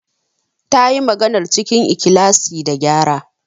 Ta yi maganar cikin ikhlasi da qyara.